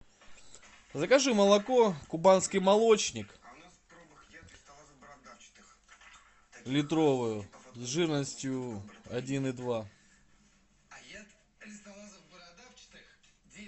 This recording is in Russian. закажи молоко кубанский молочник литровую жирностью один и два